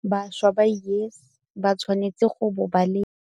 Bašwa ba YES ba tshwanetse go bo ba le -